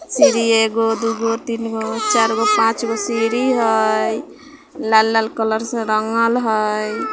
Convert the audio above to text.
सीढ़ी है एगो दू गो तीन गो चार गो पांच गो सीढ़ी है लाल-लाल कलर से रांगल हेय।